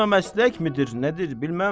Bu da məslək midir, nədir, bilməm.